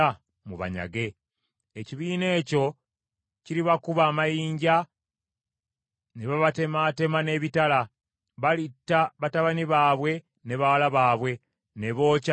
Ekibiina ekyo kiribakuba amayinja ne babatemaatema n’ebitala; balitta batabani baabwe ne bawala baabwe ne bookya n’ennyumba zaabwe.’